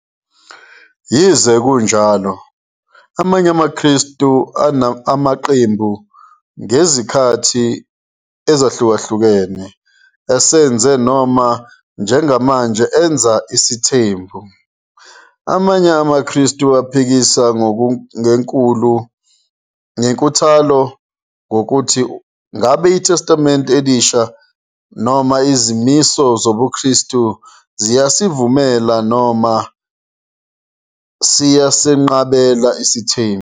Yize kunjalo, amanye amaKristu amaqembu ngezikhathi ezahlukahlukene asenze, noma njengamanje enza isithembu. Amanye amaKristu aphikisana ngenkuthalo ngokuthi ngabe iTestamente Elisha noma izimiso zobuKristu ziyasivumela noma siyasenqabela isithembu.